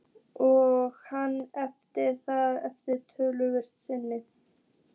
Og hann erfði það eftir föður sinn.